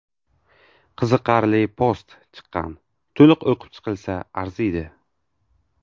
Qiziqarli post chiqqan, to‘liq o‘qib chiqilsa arziydi.